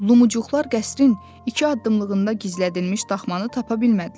Lumuqlar qəsrin iki addımlığında gizlədilmiş daxmanı tapa bilmədilər.